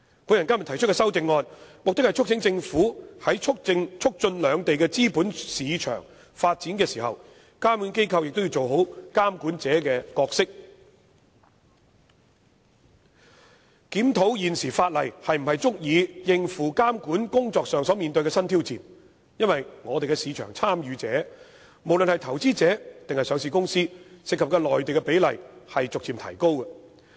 我今天提出的修正案，目的是促請政府在促進兩地資本市場發展的時候，監管機構都要做好監管者的角色，檢討現時法例是否足以應付監管工作上所面對的新挑戰，因為我們的市場參與者，不論是投資者還是上市公司，涉及內地的比例都逐漸提高。